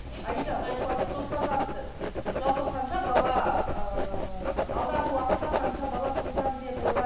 аида отбасын жоспарлапсыз жалпы қанша бала ыыы алдағы уақытта қанша бала тусам деп